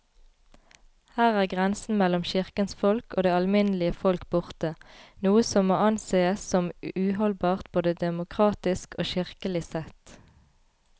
Her er grensen mellom kirkens folk og det alminnelige folk borte, noe som må ansees som uholdbart både demokratisk og kirkelig sett.